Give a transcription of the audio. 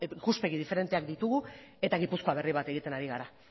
ikuspegi diferenteak ditugu eta gipuzkoa berri bat egiten ari gara